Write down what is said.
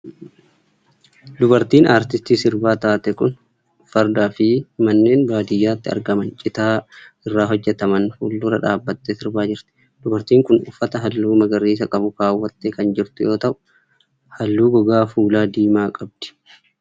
Dubartiin aartistii sirbaa taate kun farda fi manneen baadiyaatti argaman citaa irraa hojjataman fuuldura dhaabattee sirbaa jirti. Dubartiin kun uffata haalluu magariisa qabu kaawwattee kan jirtu yoo ta'u, halluu gogaa fuulaa diimaa ta'e qabdi.